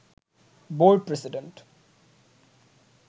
board president